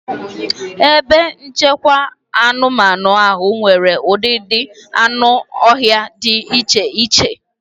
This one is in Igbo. Ebe nchekwa anụmanụ ahụ nwere ụdịdị anụ ọhịa dị iche iche.